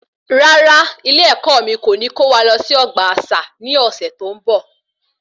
Rárá, ilé ẹkọ mí kò ní kó wa lọ sí ọgbà àṣà ní ọsẹ tó n bọ